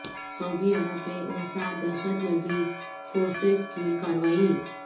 سعودی عرب میں انسداد دہشت گردی فورسز کی کارروائی